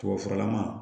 Tubabufuralaman